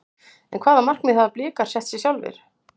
En hvaða markmið hafa Blikar sett sér sjálfir?